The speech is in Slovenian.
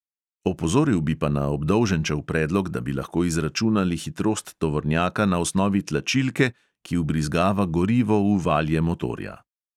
Opozoril bi pa na obdolženčev predlog, da bi lahko izračunali hitrost tovornjaka na osnovi tlačilke, ki vbrizgava gorivo v valje motorja.